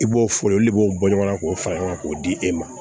I b'o fɔ olu de b'o bɔ ɲɔgɔn na k'o fara ɲɔgɔn kan k'o di e ma